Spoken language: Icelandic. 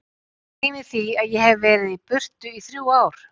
Gleymi því að ég hef verið í burtu í þrjú ár.